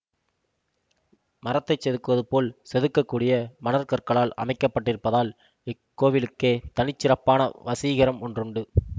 மரத்தை செதுக்குவது போல் செதுக்கக்கூடிய மணற்கற்களால் அமைக்கப்பட்டிருப்பதால் இக்கோவிலுக்கே தனிச்சிறப்பான வசீகரம் ஒன்றுண்டு